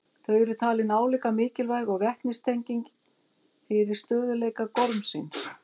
Þau eru talin álíka mikilvæg og vetnistengin fyrir stöðugleika gormsins.